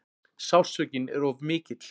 Sársaukinn er of mikill.